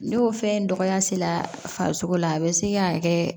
Ne y'o fɛn dɔgɔya se la farisoko la a bɛ se ka kɛ